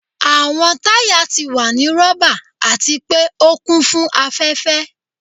Awọn taya ti wa ni rọba ati pe o kun fun afẹfẹ.